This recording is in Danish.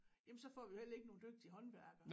Jamen så får vi jo heller ikke nogen dygtige håndværkere